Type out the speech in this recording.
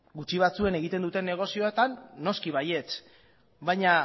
gutxi batzuek egiten dutenen negozioetan noski baietz baina